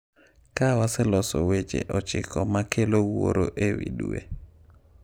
Kae waseloso weche 9 ma kelo wuoro e wi Dwe.